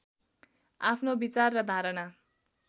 आफ्नो विचार र धारणा